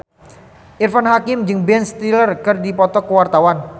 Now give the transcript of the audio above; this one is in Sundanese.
Irfan Hakim jeung Ben Stiller keur dipoto ku wartawan